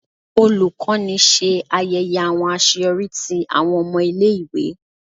Olukọni ṣe ayẹyẹ awọn aṣeyọri ti awọn ọmọ ile-iwe.